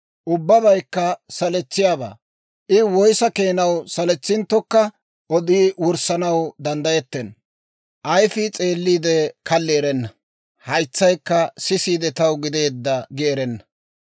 Ubbabaykka saletsiyaabaa. I woyissa keenaw saletsinttokka odi wurssanaw danddayettenna. Ayifii s'eelliide, kalli erenna; haytsaykka sisiide, taw gideedda gi erenna.